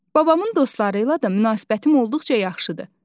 Babamın dostları ilə də münasibətim olduqca yaxşıdır.